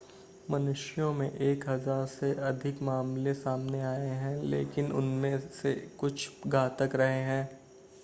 मनुष्यों में एक हज़ार से अधिक मामले सामने आए हैं लेकिन उनमें से कुछ घातक रहे हैं